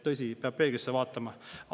Tõsi, peab peeglisse vaatama.